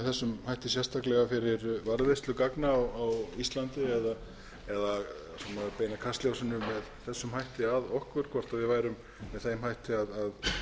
þessum hætti sérstaklega fyrir varðveislu gagna á íslandi eða beina kastljósinu með þessum hætti að okkur hvort við værum með þeim hætti að